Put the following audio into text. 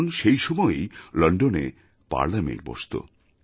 কারণ সেই সময়েই লণ্ডনে পার্লামেণ্ট বসত